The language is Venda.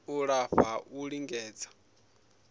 u lafha ha u lingedza